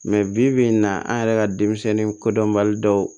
bi bi in na an yɛrɛ ka denmisɛnnin kodɔnbali dɔw